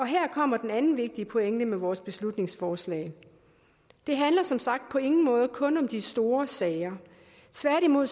her kommer den anden vigtige pointe med vores beslutningsforslag det handler som sagt på ingen måde kun om de store sager tværtimod